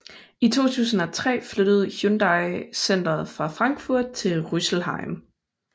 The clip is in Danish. I 2003 flyttede Hyundai centeret fra Frankfurt til Rüsselsheim